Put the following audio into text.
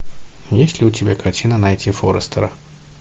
есть ли у тебя картина найти форестера